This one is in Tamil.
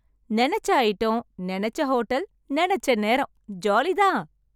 நெனச்ச அயிட்டம், நெனச்ச ஹோட்டல், நெனச்ச நேரம் ஜாலி தான்!